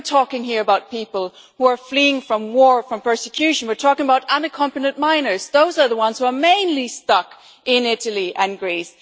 We are talking here about people who are fleeing from war and persecution, and we are talking about unaccompanied minors those are the people who are mainly stuck in Italy and Greece.